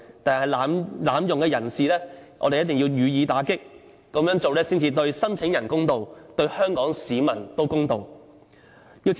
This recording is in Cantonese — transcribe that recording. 但是，濫用的人士，我們一定要予以打擊，這樣做才對申請人公道，對香港市民公道。